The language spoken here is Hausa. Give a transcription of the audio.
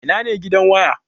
Ina ne gidan waya?